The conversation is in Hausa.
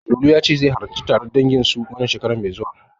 Lulu ya ce, zai halarci taron dangin su, wannan shekarar mai zuwa.